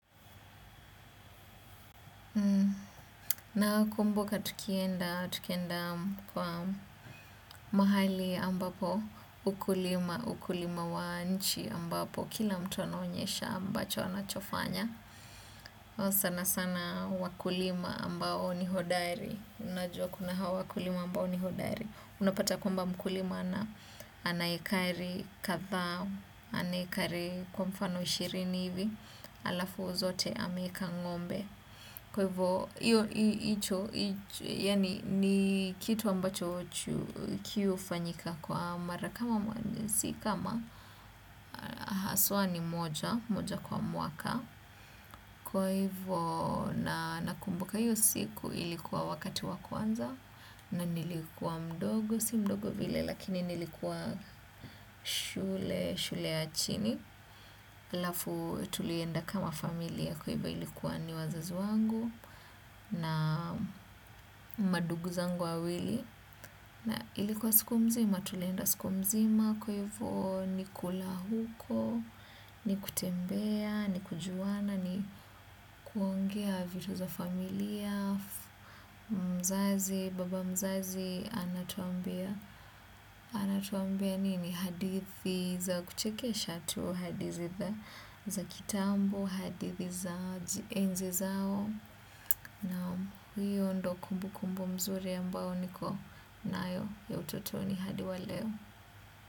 Na kumbuka tukienda kwa mahali ambapo, ukulima, ukulima wa nchi ambapo, kila mtu anonyesha ambacho anachofanya. Sana sana wakulima ambao ni hodari unajua kuna hawa wakulima ambao ni hodari. Unapata kuamba mkulima anaekari katha, anaekari kwa mfano ishirini hivi, alafu zote ameka ngombe. Kwa hivyo, ni kitu ambacho kiufanyika kwa mara kama mwaka, kwa hivyo na nakumbuka hiyo siku ilikuwa wakati wakuanza, na nilikua mdogo, si mdogo vile lakini nilikua shule, shule ya chini, alafu tulienda kama familia kwa hivyo ilikuwa ni wazazi wangu na madugu zangu wawili na ilikuwa siku mzima tulenda siku mzima kwa ivo ni kulahuko ni kutembea ni kujuwana ni kuongea vitu za familia mzazi baba mzazi anatuambia anatuambia nini hadithi za kuchekesha tu hadithi za kitambo hadithi za enzi zao na hiyo ndo kumbu kumbu mzuri ambao niko naayo ya utotoni hadi wa leo.